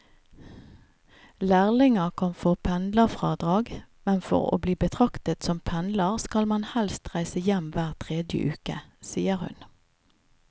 Lærlinger kan få pendlerfradrag, men for å bli betraktet som pendler skal man helst reise hjem hver tredje uke, sier hun.